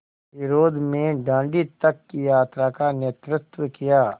विरोध में दाँडी तक की यात्रा का नेतृत्व किया